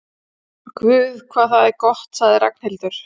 Guð hvað það er gott sagði Ragnhildur.